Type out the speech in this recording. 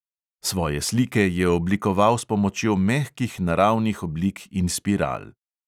Svoje slike je oblikoval s pomočjo mehkih naravnih oblik in spiral.